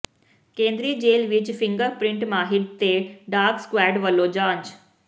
ਕੇਂਦਰੀ ਜੇਲ੍ਹ ਵਿੱਚ ਫਿੰਗਰ ਪ੍ਰਿੰਟ ਮਾਹਿਰ ਤੇ ਡਾਗ ਸਕੁਐਡ ਵੱਲੋਂ ਜਾਂਚ